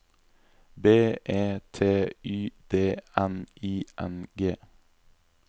B E T Y D N I N G